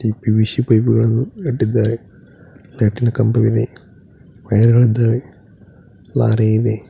PVC pipe ಗಳನ್ನು ಇಟ್ಟಿದ್ದಾರೆ ಲೈಟಿನ ಕಂಬವಿದೆ ವೈರ್ಗಳಿದ್ದಾವೆ ಲಾರಿ ಇದೆ.